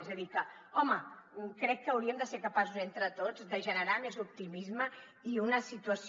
és a dir que home crec que hauríem de ser capaços entre tots de generar més optimisme i una situació